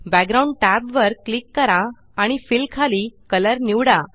background tab वर click करा आणि फिल खाली कलर निवडा